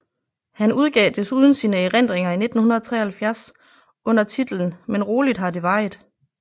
Han udgav desuden sine erindringer i 1973 under titlen Men roligt har det varit